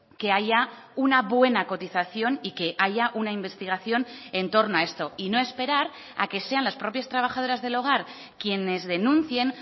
que haya una buena cotización y que haya una investigación en torno a esto y no esperar a que sean las propias trabajadoras del hogar quienes denuncien